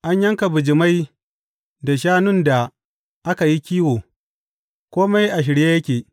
An yanka bijimai da shanun da aka yi kiwo, kome a shirye yake.